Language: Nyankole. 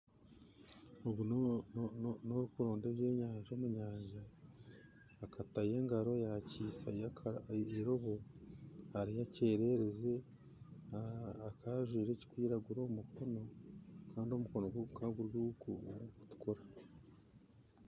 Ogu n'orikuronda ebyenyanja omu nyanja akatayo engaro yakihisayo eirobo hariho ekyererezi akaba ajwaire ekirikwiragura aha mikono kandi omukono gwe gukaba guri ogurikutukura